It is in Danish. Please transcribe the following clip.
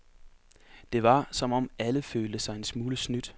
Det var, som om alle følte sig en smule snydt.